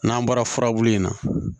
N'an bɔra furabulu in na